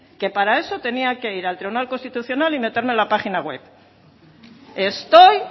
que para eso tenía que ir al tribunal constitucional y meterme en la página web estoy